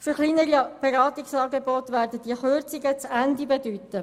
Für kleinere Beratungsangebote werden diese Kürzungen aber das Ende bedeuten.